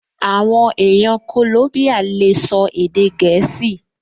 Àwọn èèyàn kòlóbíyà lè sọ èdè gẹ̀ẹ́sì